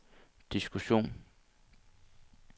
diskussion